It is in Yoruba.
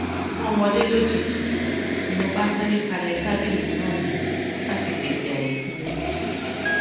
wón wọlé lójijì ni mo bá sáré palẹ tábìlì náà mọ láti pèsè àyè fún wọn